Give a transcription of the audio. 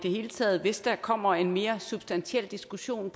det hele taget hvis der kommer en mere substantiel diskussion